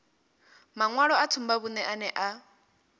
maṅwalo a tsumbavhuṅe ane a